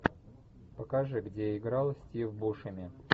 покажи где играл стив бушеми